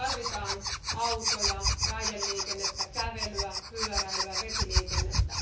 Tarvitaan autoja, raideliikennettä, kävelyä, pyöräilyä, vesiliikennettä.